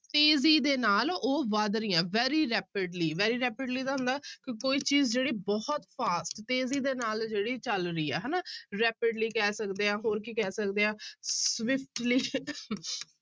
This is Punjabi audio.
ਤੇਜ਼ੀ ਦੇ ਨਾਲ ਉਹ ਵੱਧ ਰਹੀਆਂ very rapidly, very rapidly ਦਾ ਹੁੰਦਾ ਕਿ ਕੋਈ ਚੀਜ਼ ਜਿਹੜੀ ਬਹੁਤ fast ਤੇਜ਼ੀ ਦੇ ਨਾਲ ਜਿਹੜੀ ਚੱਲ ਰਹੀ ਹੈ ਹਨਾ rapidly ਕਹਿ ਸਕਦੇ ਹਾਂ ਹੋਰ ਕੀ ਕਹਿ ਸਕਦੇ ਹਾਂ